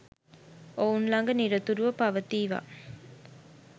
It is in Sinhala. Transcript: ඔවුන් ළඟ නිරතුරුව පවතීවා